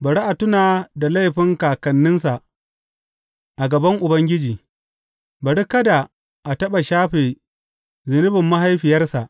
Bari a tuna da laifin kakanninsa a gaban Ubangiji; bari kada a taɓa shafe zunubin mahaifiyarsa.